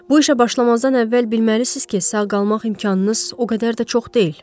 Bu işə başlamazdan əvvəl bilməlisiz ki, sağ qalmaq imkanınız o qədər də çox deyil.